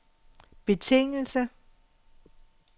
betingelse